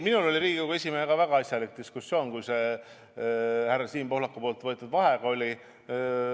Minul oli Riigikogu esimehega väga asjalik diskussioon, kui see härra Siim Pohlaku palutud vaheaeg oli.